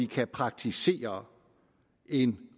kan praktisere en